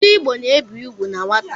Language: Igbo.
Ndị Igbo na-ebi ugwu na nwata